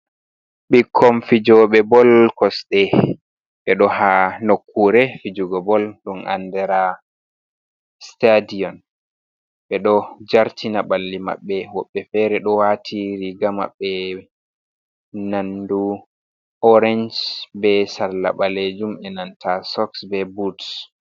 Ɓikkon fijoɓe bol kosɗe, ɓe ɗo ha nokkure fijugo bol ɗum andara stadion ɓe ɗo jartina ɓalli maɓɓe woɓɓe fere ɗo wati riga maɓɓe nandu orench be salla ɓalejum e nanta sox be but.